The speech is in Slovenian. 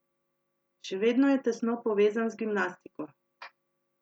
Še vedno je tesno povezan z gimnastiko.